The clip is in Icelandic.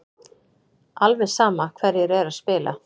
Alveg sama hverjir eru að spila.